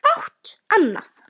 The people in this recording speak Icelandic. Fátt annað.